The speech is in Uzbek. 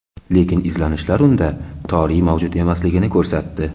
Lekin izlanishlar unda toriy mavjud emasligini ko‘rsatdi.